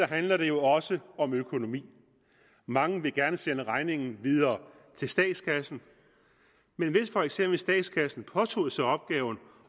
handler det jo også om økonomi mange vil gerne sende regningen videre til statskassen men hvis for eksempel statskassen påtog sig opgaven og